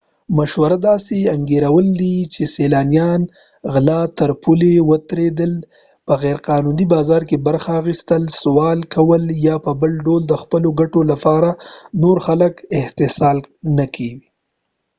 مشوره داسې انګیرل کوي چې سیلانیان غلا تر پولې ورتېرېدل په غیرقانوني بازار کې برخه اخیستل سوال کول یا په بل ډول د خپلو ګټو لپاره نور خلک استحصال نه کوي